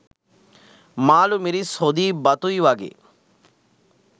මාළු මිරිස් හොදියි බතුයි වගේ